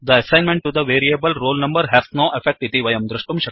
the assignment to the variable roll number has no effect